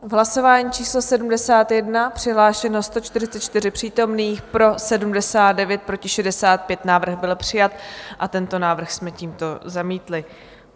V hlasování číslo 71 přihlášeno 144 přítomných, pro 79, proti 65, návrh byl přijat a tento návrh jsme tímto zamítli.